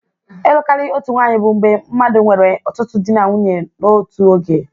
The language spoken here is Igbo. Ịlụ karịa otu nwanyị bụ mgbe mmadụ nwere ọtụtụ di na nwunye n'otu oge.